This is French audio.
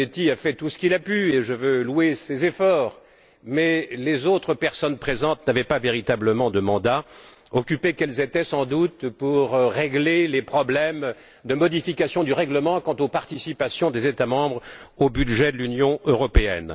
Zanetti a fait tout ce qu'il a pu, et je veux louer ses efforts, mais les autres personnes présentes n'avaient pas véritablement de mandat, occupées qu'elles étaient, sans doute, à régler les problèmes de modification du règlement quant aux participations des États membres au budget de l'Union européenne.